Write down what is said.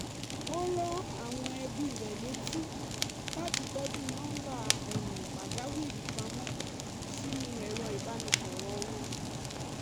ó rán àwọn ẹbí rẹ̀ létí láti tọ́jú nọ́ńbà pàjáwìrì pamọ́ sínú ẹ̀rọ̀ ìbánisọ̀rọ̀ wọn